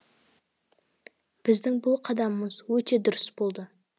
біздің бұл қадамымыз өте дұрыс болды